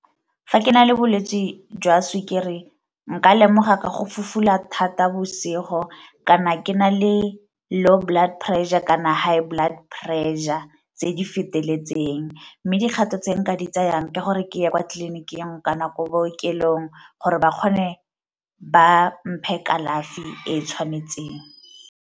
Fa ke na le bolwetse jwa sukiri nka lemoga ka go fufula thata bosigo kana ke na le low blood pressure kana high blood pressure tse di feteletseng. Mme dikgato tse nka di tsayang ke gore ke ye kwa tleliniking kana ko bookelong gore ba kgone ba mphe kalafi e e tshwanetseng.